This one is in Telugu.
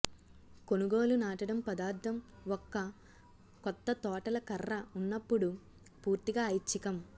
కొనుగోలు నాటడం పదార్థం ఒక కొత్త తోటల కర్ర ఉన్నప్పుడు పూర్తిగా ఐచ్ఛికం